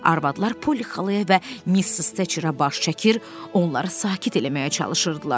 Arvadlar Polly xalaya və Missis Teçerə baş çəkir, onları sakit eləməyə çalışırdılar.